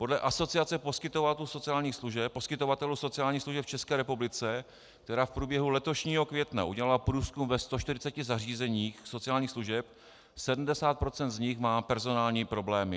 Podle Asociace poskytovatelů sociálních služeb v České republice, která v průběhu letošního května udělala průzkum ve 140 zařízeních sociálních služeb, 70 % z nich má personální problémy.